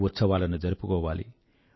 ఉత్సవాలను జరుపుకోవాలి